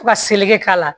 Fo ka seleke k'a la